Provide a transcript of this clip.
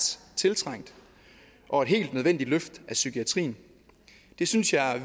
tiltrængt og helt nødvendigt løft af psykiatrien det synes jeg